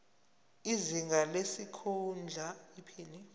izinga lesikhundla iphini